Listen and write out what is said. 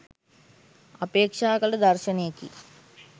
අපේක්‍ෂා කළ දර්ශනයකි.